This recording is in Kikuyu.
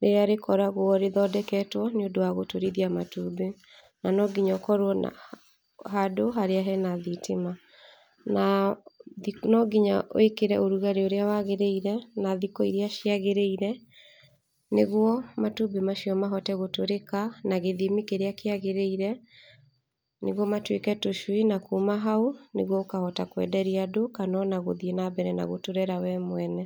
rĩrĩa rĩkoragwo rĩthondeketwo nĩ ũndũ wa gũturithia matumbĩ. Na no nginya ũkorwo na handũ harĩa hena thitima. Na no nginya wĩkĩre ũrugarĩ ũrĩa wagĩrĩire, na thikũ iria ciagĩrĩire nĩgwo matumbĩ macio mahote gũtũrĩka a gĩthimi kĩrĩa kĩagĩrĩire, nĩgwo matuĩke tũcui na kuma hau nĩgwo ũkahota kwenderia andũ kana ona gũthiĩ na mbere na gũtũrera we mwene.